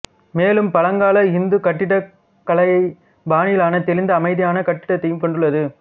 மேலும் பழங்கால இந்து கட்டிடக்கலைப் பாணியிலான தெளிந்த அமைதியான கட்டிடத்தையும் கொண்டுள்ளது